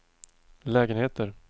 lägenheter